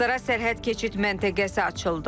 Asrira sərhəd keçid məntəqəsi açıldı.